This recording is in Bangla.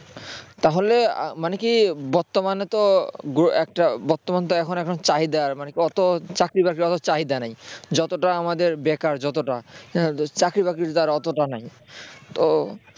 তাহলে মানে কি বর্তমানে তো একটা বর্তমানে তো এখন এখন চাহিদা অতো চাকরি বাকরি চাহিদা নেই যতটা আমাদের বেকার যতটা চাকরি-বাকরির তো অতটা নেই তো